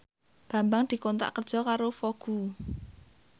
Bambang dikontrak kerja karo Vogue